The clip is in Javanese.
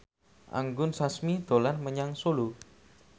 Anggun Sasmi dolan menyang Solo